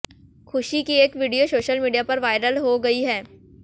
खुशी की एक वीडियो सोशल मीडिया पर वायरल हो गई है